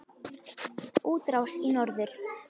Útrás í norður